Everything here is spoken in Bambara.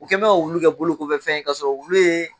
U kɛ n bɛ ka wulu kɛ bolo kɔfɛtɔfɛn ye kasɔrɔ wulu ye